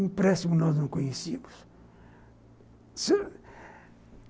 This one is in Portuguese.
Um empréstimo nós não conhecíamos.